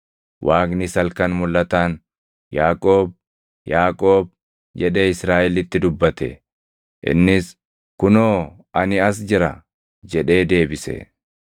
Waaqnis halkan mulʼataan, “Yaaqoob! Yaaqoob!” jedhee Israaʼelitti dubbate. Innis, “Kunoo ani as jira” jedhee deebise.